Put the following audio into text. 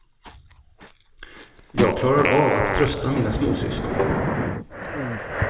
Jag klarar av att trösta mina småsyskon.